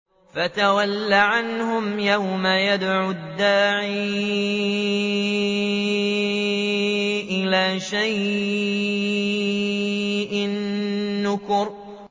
فَتَوَلَّ عَنْهُمْ ۘ يَوْمَ يَدْعُ الدَّاعِ إِلَىٰ شَيْءٍ نُّكُرٍ